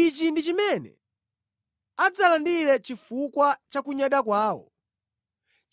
Ichi ndi chimene adzalandire chifukwa cha kunyada kwawo,